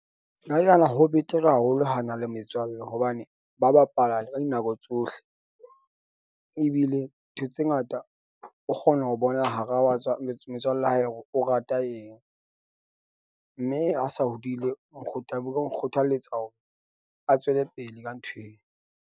Nna ke nahana ho betere haholo ha na le metswalle hobane ba bapala ka dinako tsohle. Ebile ntho tse ngata o kgona ho bona hara wa tswa metswalle ya hae hore o rata eng. Mme ha sa hodile, o nkgothaletsa hore a tswele pele ka nthweo.